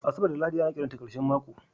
Asabar da Lahadi ana kiranta ƙarshen mako